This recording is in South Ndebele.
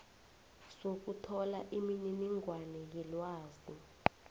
sokuthola imininingwana yelwazi